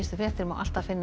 fréttir má alltaf finna